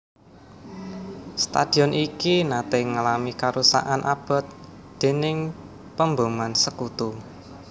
Stadion iki naté ngalami karusakan abot déning pemboman Sekutu